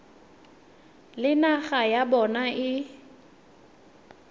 le naga ya bona e